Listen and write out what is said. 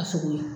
A sogo la